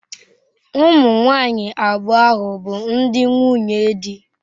Ụmụ nwanyị abụọ ahụ bụ ndi nwunye di.